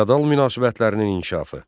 Feodal münasibətlərinin inkişafı.